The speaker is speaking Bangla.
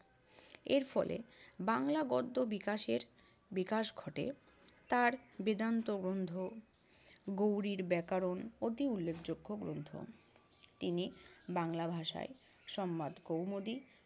এর ফলে বাংলা গদ্য বিকাশের~ বিকাশ ঘটে। তার বেদান্ত গ্রন্থ, গৌড়ির ব্যাকরণ অতি উল্লেখযোগ্য গ্রন্থ। তিনি বাংলা ভাষায় সম্বাদ কৌমুদী